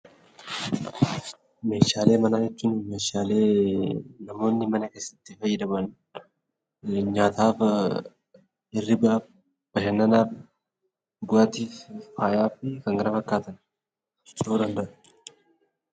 Meeshaalee manaa jechuun meeshaalee namoonni mana keessatti fayyadaman nyaataaf, hirribaaf, bashannanaaf, dhugaatiif, faayaa fi kan kana fakkaataniif